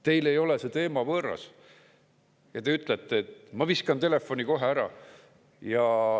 Teile ei ole see teema võõras ja te ütlete, et "ma viskan telefoni kohe ära".